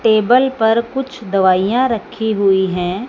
Table पर कुछ दवाइयां रखी हुई है।